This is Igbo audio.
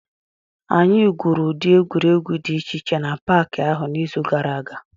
Anyị gwuru ụdị egwuregwu dị iche iche n'Paakị ahụ n'izu gara aga